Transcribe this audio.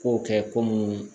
Kow kɛ ko mun